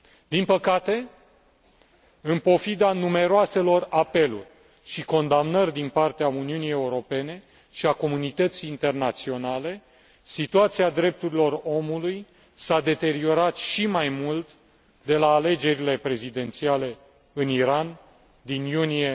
Din păcate, în pofida numeroaselor apeluri și condamnări din partea Uniunii Europene și a comunității internaționale, situația drepturilor omului s a deteriorat și mai mult de la alegerile prezidențiale în Iran din iunie